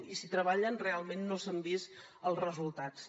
i si hi treballen realment no s’han vist els resultats